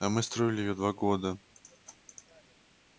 а мы строили её два года